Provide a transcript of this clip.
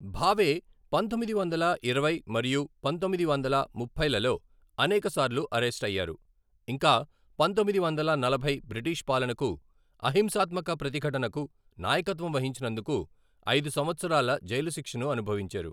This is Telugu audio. భావే పంతొమ్మిది వందల ఇరవై మరియు పంతొమ్మిది వందల ముప్పైలలో అనేక సార్లు అరెస్టయ్యారు, ఇంకా పంతొమ్మిది వందల నలభై బ్రిటిష్ పాలనకు అహింసాత్మక ప్రతిఘటనకు నాయకత్వం వహించినందుకు ఐదు సంవత్సరాల జైలు శిక్షను అనుభవించారు.